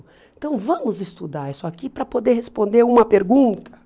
Então, vamos estudar isso aqui para poder responder uma pergunta?